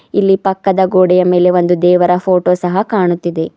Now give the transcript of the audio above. ಇಲ್ಲಿ ಪಕ್ಕದ ಗೋಡೆಯ ಮೇಲೆ ಒಂದು ದೇವರ ಫೋಟೋ ಸಹ ಕಾಣುತ್ತಿದೆ.